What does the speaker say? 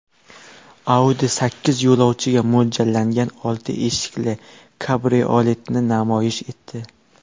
Audi sakkiz yo‘lovchiga mo‘ljallangan olti eshikli kabrioletni namoyish etdi.